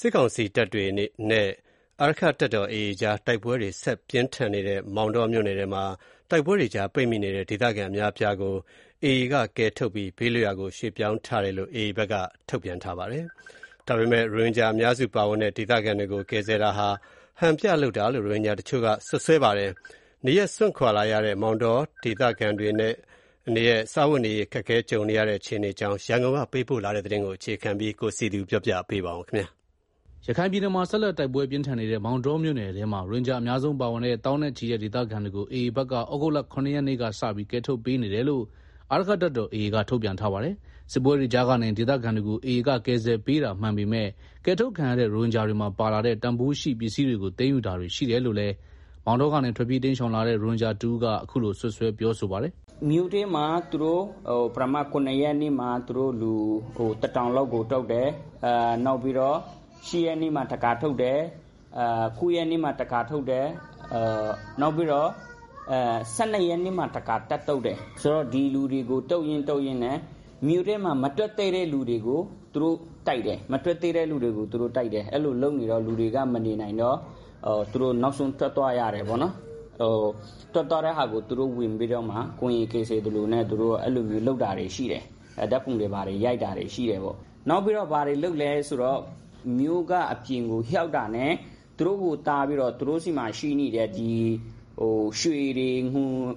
စစ်ကောင်စီတပ်တွေနဲ့ အာရက္ခတပ်တော် AA ကြား တိုက်ပွဲတွေ ဆက်လက်ပြင်းထန်နေတဲ့ မောင်တောမြို့နယ်ထဲမှာ တိုက်ပွဲကြား ပိတ်မိနေတဲ့ ဒေသခံအများအပြားကို AA ကကယ်ထုတ်ပြီး ဘေးလွတ်ရာ ရွှေ့ပြောင်းပေးထားတယ်လို့ AA ဘက်ကထုတ်ပြန်ထားပါတယ်။ ရိုဟင်ဂျာအများစုပါဝင်တဲ့ ဒေသခံတွေကို ကယ်ဆယ်တာဟာ ဟန်ပြ လုပ်တာလို့ ရိုဟင်ဂျာတချို့က စွပ်စွဲပါတယ်။ နေရပ်စွန့်လာရတဲ့ မောင်တော ဒေသခံတွေအနေနဲ့ စားဝတ်နေရေး အခက်အခဲကြုံနေကြရတဲ့ အခြေအနေအကြောင်း ရန်ကုန်ကပေးပို့တဲ့သတင်းကို အခြေခံပြီး တင်ပြထားပါတယ်။ ရခိုင်ပြည်နယ်မှာ ဆက်လက်တိုက်ပွဲပြင်းထန်နေတဲ့ မောင်တောမြို့နယ်ထဲမှာ ရိုဟင်ဂျာအများဆုံးပါဝင်တဲ့ သောင်းနဲ့ချီတဲ့ ဒေသခံတွေကို AA ဘက်က ဩဂုတ်လ ၇ ရက်နေ့ကစပြီး ကယ်ထုတ်ပေးနေတယ်လို့ အာရက္ခတပ်တော် AA က ထုတ်ပြန်ထားပါတယ်။ စစ်ပွဲတွေကြားကနေ ဒေသခံတွေကို AA က ကယ်ဆယ်ပေးတာမှန်ပေမဲ့ ကယ်ထုတ်ခံရတဲ့ ရိုဟင်ဂျာတွေမှာ ပါလာတဲ့ တန်ဖိုးရှိပစ္စည်းတွေကို သိမ်းယူတာတွေရှိတယ်လို့လည်း မောင်တောကနေ ထွက်ပြေးတိမ်းရှောင်လာတဲ့ ရိုဟင်ဂျာတဦးက ခုလိုပြောဆိုပါတယ်။ “ မြို့ထဲမှာရှိတဲ့လူတွေကို ပထမနေ့ ရ ရက်နေ့မှာသူတို့ လူတထောင်လောက်ကို ထုတ်တယ်၊ နောက်ပြီးတော့ ၈ ရက်နေ့မှာ တခါထုတ်တယ်၊ ၉ ရက်နေ့မှာ တခါထုတ်တယ်၊ နောက်ပြီးတော့ ၁၂ရက်နေ့မှာ တခါထပ်ထုတ်တယ်၊ ဆိုတော့ ဒီလူတွေကို ထုတ်ရင်း ထုတ်ရင်းနဲ့ မြို့ထဲမှာ မထွက်သေးတဲ့ သူတွေကို သူတို့ တိုက်တယ်၊ အဲလိုလုပ်နေတော့ လူတွေက မနေနိုင်တော့ နောက်ဆုံးထွက်သွားရတယ်၊ ထွက်သွားတဲ့ ဟာကို သူတို့ ဝင်ပြီးတော့မှ ကူညီကယ်ဆယ် သလိုနဲ့ အဲလိုလုပ်တာတွေ ရှိတယ်။ ဓာတ်ပုံရိုက်တာတွေရှိတယ်ပေါ့။နောက်ပြီးတော့ ဘာတွေ လုပ်လဲဆိုတော့ မြို့က အပြင်ကို ရောက်တာနဲ့ သူတို့ဆီမှာ ရှိနေတဲ့ ဒီ ရွှေတွေ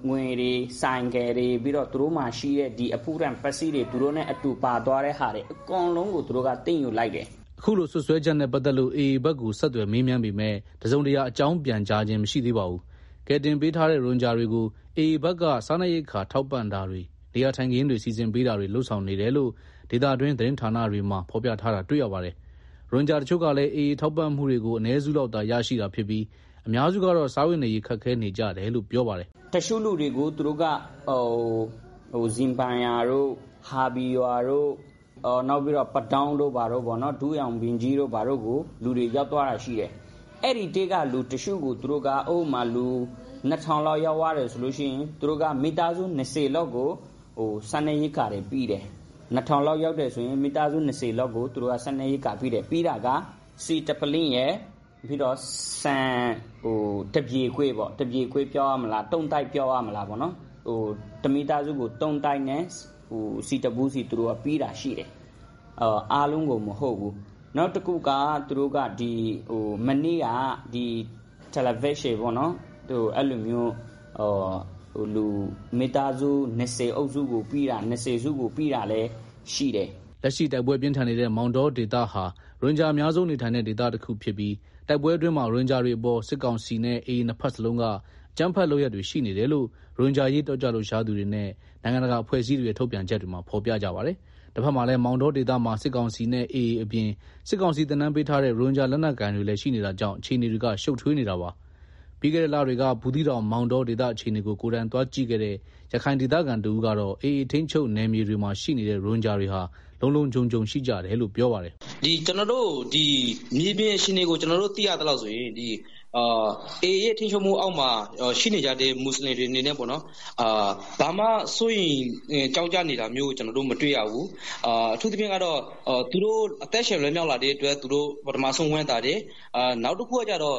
ငွေတွေ ဆိုင် ကယ်တွေပြီးတော့ သူတို့မှာရှိတဲ့ အဖိုးတန်ပစ္စည်းတွေသူတို့နဲ့အတူပါသွားတဲ့ဟာကို အကုန် လုံးကို သူတို့က သိမ်းယူလိုက်တယ်။” အခုလို စွပ်စွဲချက်နဲ့ပတ်သက်လို့ AA ဘက်ကို ဆက်သွယ်မေးပေမဲ့ တစုံတရာ အကြောင်းပြန်ခြင်း မရှိသေးပါဘူး။ ကယ်တင်ပေးထားတဲ့ ရိုဟင်ဂျာတွေကို AA ဘက်က စားနပ်ရိက္ခာ ထောက်ပံ့တာတွေ နေရာထိုင်ခင်းတွေ စီစဉ်ပေးတာတွေ လုပ်ဆောင်နေတယ်လို့ ဒေသတွင်း သတင်းဌာနာတွေမှာ ဖော်ပြထားတာတွေ့ရပါတယ်။ ရိုဟင်ဂျာတချို့ကလည်း AA ထောက်ပံ့မှုတွေကို အနည်းစုလောက်သာ ရရှိတာဖြစ်ပြီး အများစုကတော့ စားဝတ်နေရေး ခက်ခဲနေကြတယ်လို့ ပြောပါတယ်။ “ တချို့လူတွေက ဇင်ဘိုင်ယာတို့ ဟာဘီရာတို့ နောက်ပြီးတော့ ပဒေါင်းတို့ဘာတို့ ကိုလူတွေ ရောက်သွားတာရှိတယ်၊ အဲဒီထဲက လူတချို့ကို သူတို့က ဥပမမာ လူ၂ထောင် လောက် ရောက်သွားတယ်ဆိုလိုရှိရင် သူတို့က မိသားစု ၂ဝ လောက်ကိုစားနပ်ရိက္ခာတွေပေးတယ်၊ ပေးတာက ဆီတပုလင်းရယ် ဆန် တပြည်ခွဲရယ် တမိသားစုကို အဲလိုပေးတာရှိတယ်။ အားလုံးကိုမဟုတ်ဘူး၊ နောက်တခုက သူတို့ကမနေ့က တာပေါ်လင် အလိပ်အရှည်ပေါ့နော် အဲတာကို မိသားစု ၂ဝ အုပ်စုကိုပေးတာလည်းရှိတယ်။” လက်ရှိတိုက်ပွဲပြင်းထန်နေတဲ့ မောင်တောဒေသဟာ ရိုဟင်ဂျာအများဆုံးနေထိုင်တဲ့ ဒေသတခုဖြစ်ပြီး တိုက်ပွဲအတွင်းမှာ ရိုဟင်ဂျာတွေအပေါ် စစ်ကောင်စီနဲ့ AA နှစ်ဘက်စလုံးက အကြမ်းဖက်လုပ်ရပ်တွေ ရှိနေတယ်လို့ ရိုဟင်ဂျာအရေး တက်ကြွလှုပ်ရှားသူတွေနဲ့ နိုင်ငံတကာအဖွဲ့အစည်းတွေရဲ့ ထုတ်ပြန်ချက်တွေမှာ ဖော်ပြကြပါတယ်။ တဘက်မှာလည်း မောင်တောဒေသမှာ စစ်ကောင်စီနဲ့ AA အပြင် စစ်ကောင်စီသင်တန်းပေးထားတဲ့ ရိုဟင်ဂျာလက်နက်ကိုင်တွေလည်း ရှိနေတာကြောင့် အခြေအနေတွေက ရှုပ်ထွေးနေတာပါ။ ပြီးခဲ့တဲ့ လတွေက ဘူးသီးတောင်၊ မောင်တောဒေသအခြေအနေကို ကိုယ်တိုင်သွားကြည့်ခဲ့တဲ့ ရခိုင်ဒေသခံတဦးကတော့ AA ထိန်းချုပ်နယ်မြေတွေမှာ ရှိနေတဲ့ ရိုဟင်ဂျာတွေဟာ လုံလုံခြုံခြုံရှိကြတယ်လို့ ပြောပါတယ်။ “မြေပြင်အခြေအနေကို ကျနော်သိရသလောက်ဆိုရင် AA ထိန်းချုပ်မှုအောက်မှာရှိနေကြတဲ့ မွတ်ဆလင်တွေအနေနဲ့ ဘာမှစိုးရိမ်ကြောင့်ကြနေတာမျိုးကျနော်တို့ မတွေ့ရဘူး၊ အထူးသဖြင့်ကတော့ ပထမဆုံးသူတို့ အသက်ရှင်လွတ်မြောက်လာတဲ့ အတွက်ဝမ်းသာတယ်၊ နောက်တခုကတော့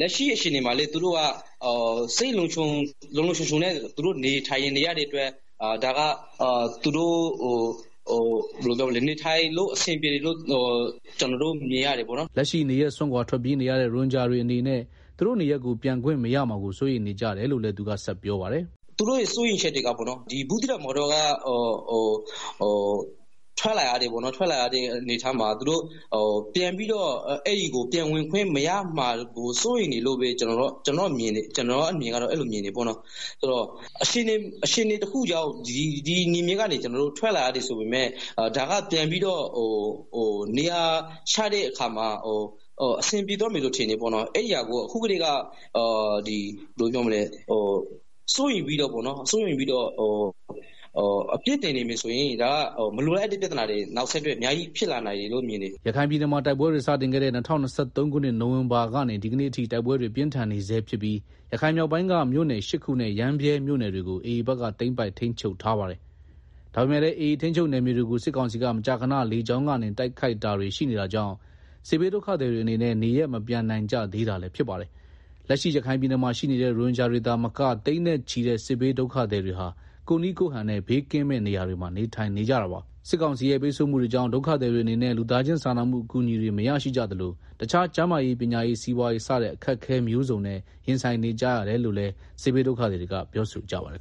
လက်ရှိမှာလည်း သူတို့က စိတ်လုံလုံခြုံခြုံနဲ့သူတို့က နေထိုင်နေရတဲ့ အတွက် အဆင်ပြေတယ်လို့ ကျနော်တို့ မြင်ရတယ်။” လက်ရှိနေရပ်စွန့်ခွာထွက်ပြေးနေရတဲ့ ရိုဟင်ဂျာအတွေအနေနဲ့ သူတို့နေရပ်ကို ပြန်ခွင့်မရမှာကို စိုးရိမ်နေကြတယ်လို့လည်း သူကဆက်ပြောပါတယ်။ “ သူတို့ရဲ့ စိုးရိမ်ချက်တွေက ဘူးသီးတောင်မောင်တောကနေ ထွက်လာရတဲ့ အနေအထားမှာ သူတို့ ပြန်ဝင်ခွင့်မရမှာကို စိုးရိမ်နေကြတယ်လို့ ကျနော်မြင်တယ်၊ ဆိုတော့ အခြေအနေတ ခုခုကြောင့် ဒီနယ်မြေကနေ ထွက်လာရတယ်ဆိုပေမယ့် ဒါက ပြန်ပြီးတော့ နေရာချတဲ့အခါ အဆင်ပြေသွားမယ်လို့ထင်တယ်ပေါ့နော်၊ အဲတာကို အခုကတည်းက စိုးရိမ်ပြီးတော့ အပြစ်တင်နေမယ်ဆိုရင် ဒါက မလိုအပ်တဲ့ ပြဿနာတွေ နောက်ဆက်တွဲ အများကြီး ဖြစ်လာနိုင်တယ်လို့ မြင်တယ်။” ရခိုင်ပြည်နယ်မှာ တိုက်ပွဲတွေ စတင်ခဲ့တဲ့ ၂၀၂၃ ခုနှစ် နိုင်ဝင်ဘာကနေ ဒီကနေ့အထိ တိုက်ပွဲတွေ ပြင်းထန်နေဆဲဖြစ်ပြီး ရခိုင်မြောက်ပိုင်းက မြို့နယ် ၈ ခုနဲ့ ရမ်းဗြဲမြို့နယ်တွေကို AA ဘက်က သိမ်းပိုက် ထိန်းချုပ်ထားပါတယ်။ ဒါပေမယ့်လည်း AA ထိန်းချုပ်နယ်မြေ တွေကို စစ်ကောင်စီက မကြာခဏ လေကြောင်းကနေ တိုက်ခိုက်တာတွေရှိနေတာကြောင့် စစ်ဘေးဒုက္ခသည်တွေအနေနဲ့ နေရပ် မပြန်နိုင်ကြသေးတာလည်းဖြစ်ပါတယ်။ လက်ရှိရခိုင်ပြည်နယ်မှာ ရှိနေတဲ့ရိုဟင်ဂျာတွေသာမက သိန်းနဲ့ချီတဲ့ စစ်ဘေးဒုက္ခသည်တွေဟာ ကိုယ့်နည်းကိုယ့်ဟန်နဲ့ ဘေးကင်းမယ့်နေရာတွေမှာ နေထိုင်နေကြတာပါ။ စစ်ကောင်စီရဲ့ ပိတ်ဆို့မှုတွေကြောင့် ဒုက္ခသည်တွေအနေနဲ့ လူသားချင်းစာနာမှုအကူအညီ တွေလည်းမရရှိကြသလို တခြား ကျန်းမာရေး ပညာရေး စီးပွားရေး စတဲ့ အခက်အခဲမျိုးစုံနဲ့ ရင်ဆိုင်နေကြရတယ်လို့လည်း စစ်ဘေးဒုက္ခသည်တွေက ပြောဆိုကြပါတယ်